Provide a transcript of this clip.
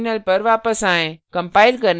अपने terminal पर वापस आएँ